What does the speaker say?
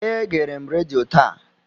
Egere m redio taa.